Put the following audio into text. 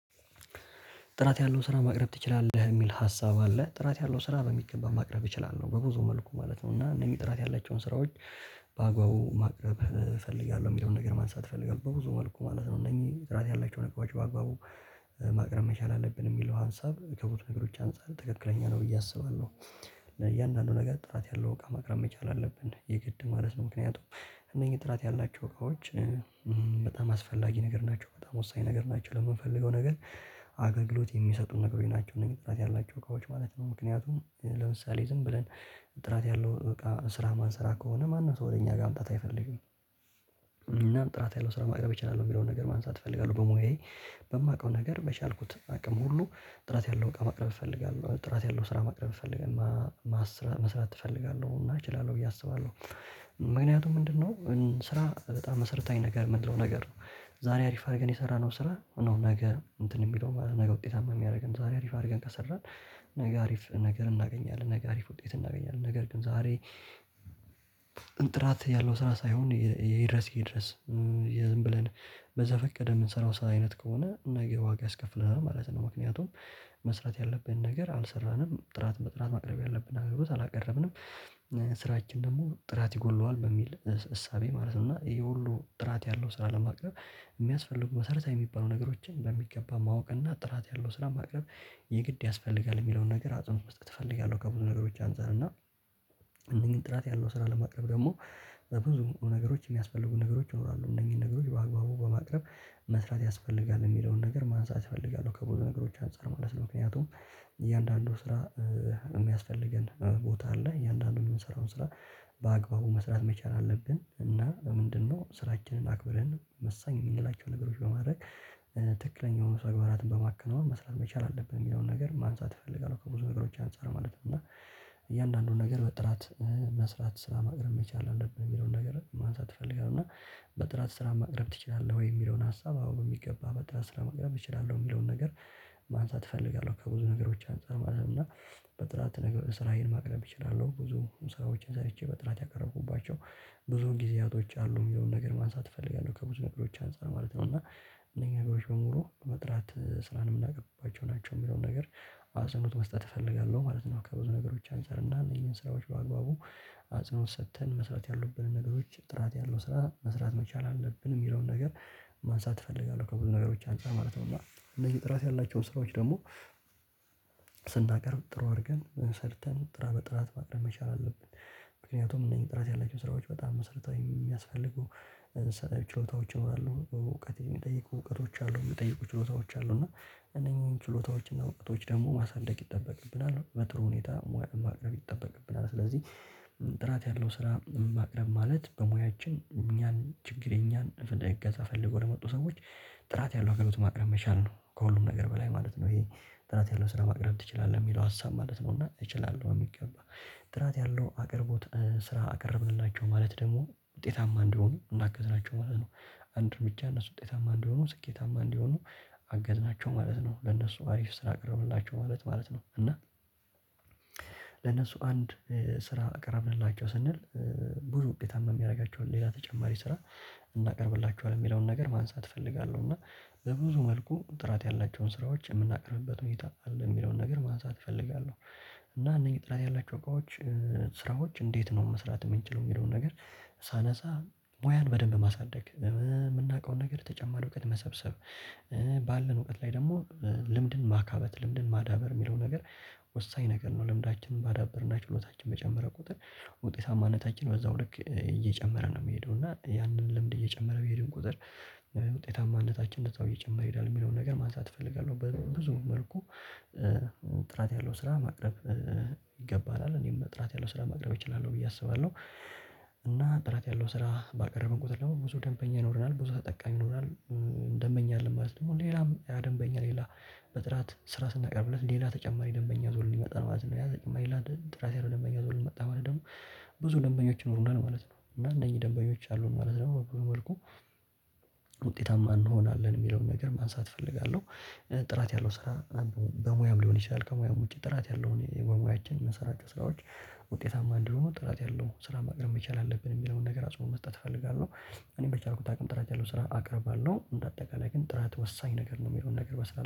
ጥራት ያለው ስራ ማቅረብ ትችላለህ የሚል ሀሳብ አለ ጥራት ያለው ስራ በሚገባ ማቅረብ ይችላል በብዙ መልኩ ማለት ነው። እና እነዚህ ጥራት ያላቸውን ስራዎች። በአግባቡ ማቅረብ እፈልጋለሁ የሚለውን ነገር ማንሳት እፈልጋለሁ። በብዙ መልኩ ማለት ነው እነዚህ ጥራት ያላቸው ነገሮች በአግባቡ ማቅረብ መቻል አለብን የሚለው ሀሳብ ከቦቱ ነገሮች አንፃር ትክክለኛ ነው ብዬ አስባለሁ። ለእያንዳንዱ ነገር ጥራት ያለው እቃ መቅረብ መቻል አለብን የግድ ማለት ነው። ምክንያቱም እነኚህ ጥራት ያላቸው እቃዎች። በጣም አስፈላጊ ነገር ናቸው በጣም ወሳኝ ነገር ናቸው ለምንፈልገው ነገር አገልግሎት የሚሰጡት ነገሮች ናቸው። እነዚህ ጥላቻ ያላቸው እቃዎች ማለት ነው። ምክንያቱም ለምሳሌ ዝም ብለን ጥራት ያለው እቃ ስራ ማን ስራ ከሆነ ማን ነው ሰው ወደ እኛ ጋር ማምጣት አይፈልግም። እና ጥራት ያለው ስራ ማቅረብ እችላለሁ የሚለውን ነገር ማንሳት እፈልጋለሁ። በሙያዬ በማውቀው ነገር በቻልኩት አቅም ሁሉ ጥራት ያለው እቃ ማቅረብ እፈልጋለሁ። ጥራት ያለው ስራ መቅረብ ትፈልጋለህ ማስራት መስራት ትፈልጋለህ እና እችላለሁ ብዬ አስባለሁ። ምክንያቱ ምንድነው? ስራ በጣም መሰረታዊ ነገር ምንድነው ነገር ነው። ዛሬ አሪፍ አድርገን የሰራነው ስራ ነው። ነገ እንትን የሚለው ነገ ውጤታማ የሚያደርገን ዛሬ አሪፍ አድርገን ከሰራን። ነገ አሪፍ ነገር እናገኛለን ነገ አሪፍ ውጤት እናገኛለን። ነገር ግን ዛሬ ጥራት ያለው ስራ ሳይሆን የይድረስ ይድረስ ዝም ብለን በዘፈቀደ የምንሰራው ስራ አይነት ከሆነ ነገ ዋጋ አስከፍለናል ማለት ነው። ምክንያቱም መስራት ያለብን ነገር አልሰራንም ጥራት መጥራት ማቅረብ ያለብን አገልግሎት አላቀረብንም። ስራችን ደግሞ ጥራት ይጎለዋል በሚል እሳቤ ማለት ነው። እና ይሄ ሁሉ ጥራት ያለው ስራ ለማቅረብ የሚያስፈልጉ መሰረታዊ የሚባሉ ነገሮችን በሚገባ ማወቅ እና ጥራት ያለው ስራ ማቅረብ የግድ ያስፈልጋል። የሚለውን ነገር አጽንኦት ውስጥ ትፈልጋለህ? ከብዙ ነገሮች አንፃር እና እነዚህን ጥራት ያለው ስራ ለማቅረብ ደግሞ በብዙ ነገሮች የሚያስፈልጉ ነገሮች ይኖራሉ። እነዚህን ነገሮች በአግባቡ በማቅረብ መስራት ያስፈልጋል የሚለውን ነገር ማንሳት እፈልጋለሁ። ከብዙ ነገሮች አንፃር ማለት ምክንያቱም እያንዳንዱ ስራ የሚያስፈልገን ቦታ አለ። የእያንዳንዱን የምንሰራውን ስራ በአግባቡ መስራት መቻል አለብን። እና ምንድነው ስራችንን አክብረን መሳኝ የሚላቸው ነገሮች በማድረግ ትክክለኛውን ሰግባራትን በማከናወን መስራት መቻል አለብን። የሚለውን ነገር ማንሳት እፈልጋለሁ ከብዙ ነገሮች አንፃር ማለት ነው። እና እያንዳንዱን ነገር በጥራት መስራት ስራ ማቅረብ መቻል አለብን። የሚለውን ነገር ማንሳት እፈልጋለሁ እና በጥራት ስራ ማቅረብ ትችላለህ? ወይ የሚለውን ሀሳብ አዎ በሚገባ በጣም ስለማቅረብ እችላለሁ። የሚለውን ነገር ማንሳት እፈልጋለሁ ከብዙ ነገሮች አንፃር ማለት ነው። እና በጥራት ስራዬን ማቅረብ እችላለሁ ብዙ ሰዎችን ሰርቼ በጥራት ያቀረቡባቸው ብዙ ጊዜያቶች አሉ። የሚለውን ነገር ማንሳት እፈልጋለሁ ከብዙ ነገሮች አንፃር ማለት ነው እና እነኛ ጋር ሽምሮ በመጥራት ስራን የምናውቅባቸው ናቸው። የሚለውን ነገር አጽኖት መስጠት እፈልጋለሁ ማለት ነው። ከብዙ ነገሮች አንፃር እንዳንይ ይሄን ስራዎች በአግባቡ አጽንኦት ሰጥተን መስራት ያለብንን ነገሮች ጥራት ያለው ስራ መስራት መቻል አለብን። የሚለውን ነገር ማንሳት እፈልጋለሁ ከብዙ ነገሮች አንፃር ማለት ነው። እና እነዚህ ጥራት ያላቸውን ስራዎች ደግሞ ስናቀርብ ጥሩ አድርገን ሰርተን ጥራ በጥራት ማቅረብ መቻል አለብን። ምክንያቱም እነዚህ ጥራት ያላቸው ስራዎች በጣም መስርታዊ የሚያስፈልጉ ችሎታዎች ይኖራሉ። በእውቀት የሚጠይቁ እውቀቶች አሉ የሚጠይቁ ችሎታዎች አሉ። እና እነኚህን ችሎታዎችና ወቅቶች ደግሞ ማሳደግ ይጠበቅብናል በጥሩ ሁኔታ ማቅረብ ይጠበቅብናል። ስለዚህ ጥራት ያለው ስራ ማቅረብ ማለት በሙያችን እኛን ችግር የእኛን እገዛ ፈልጎ ለመጡ ሰዎች ጥራት ያለው አገልግሎት ማቅረብ መቻል ነው። ከሁሉም ነገር በላይ ማለት ነው። ይሄ ጥራት ያለው ስራ ማቅረብ ትችላለህ የሚለው ሀሳብ ማለት ነው። እና እችላለሁ የሚገባ ጥራት ያለው አቅርቦት ስራ አቀረብንላቸው ማለት ደግሞ ውጤታማ እንደሆኑ እንዳገዝናቸው ማለት ነው። አንድ እርምጃ እነሱ ውጤታማ እንደሆኑ ስኬታማ እንደሆኑ አገዝናቸው ማለት ነው። ለነሱ አሪፍ ስራ አቅርብላቸው ማለት ማለት ነው። እና ለነሱ አንድ ስራ አቀረብንላቸው ስንል ብዙ ውጤታማ የሚያደርጋቸው ሌላ ተጨማሪ ስራ እናቀርብላቸዋለን የሚለውን ነገር ማንሳት እፈልጋለሁ። እና በብዙ መልኩ ጥራት ያላቸውን ስራዎች የምናቀርብበት ሁኔታ አለ። የሚለውን ነገር ማንሳት እፈልጋለሁ። እና እነዚህ ጥላቻ ያላቸው እቃዎች ስራዎች እንዴት ነው? መስራት የምንችለው የሚለውን ነገር ሳነሳ ሙያን በደንብ ማሳደግ የምናውቀውን ነገር ተጨማሪ እውቀት መሰብሰብ። ባለን እውቀት ላይ ደግሞ ልምድን ማካበት ልምድን ማዳበር የሚለው ነገር ወሳኝ ነገር ነው። ልምዳችንን ባዳብርና ችሎታችን በጨመረ ቁጥር ውጤታማነታችን በዛው ልክ እየጨመረ ነው። የሚሄደው እና ያንን ልምድ እየጨመረ ቢሄድም ቁጥር ውጤታማ እንደታችን እንደዛው እየጨመረ ይሄዳል። የሚለውን ነገር ማንሳት እፈልጋለሁ። ብዙ መልኩ ጥራት ያለው ስራ ማቅረብ ይገባል አለ እኔም ጥራት ያለው ስራ ማቅረብ እችላለሁ ብዬ አስባለሁ። እና ጥራት ያለው ስራ ባቀረብን ቁጥር ደግሞ ብዙ ደንበኛ ይኖረናል ብዙ ተጠቃሚ ይኖረናል። ደንበኛ አለን ማለት ነው። ሌላም ያ ደንበኛ ሌላ በጥራት ስራ ስናቀርብለት ሌላ ተጨማሪ ደንበኛ ዞልን ይመጣል ማለት ነው። ያ ተጨማሪ ላይ ራሴ ደንበኛ ዞልን መጣ ወይ? ደግሞ ብዙ ደንበኞች ይኖሩና ማለት ነው። እና እነኚህ ደንበኞች አሉን ማለት ነው። መልኩ ውጤታማ እንሆናለን የሚለውን ነገር ማንሳት እፈልጋለሁ። ጥራት ያለው ስራ ምናምን በሙያም ሊሆን ይችላል። ከሙያም ውጪ ጥራት ያለውን የመሙያችን መሰረተ ስራዎች ውጤታማ እንዲሆኑ ጥራት ያለው ስራ ማቅረብ መቻል አለብን። የሚለውን ነገር አጽንኦት መስጠት እፈልጋለሁ። እኔ በቻርኩት አቅም ጥራት ያለውን ስራ አቅርባለሁ በአጠቃላይ ግን ጥራት ወሳኝ ነገር ነው። የሚለውን ነገር በስላል